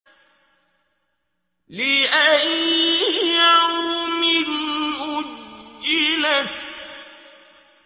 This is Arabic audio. لِأَيِّ يَوْمٍ أُجِّلَتْ